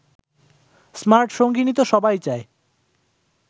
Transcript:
smart সঙ্গিনী তো সবাই চায়